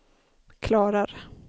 klarar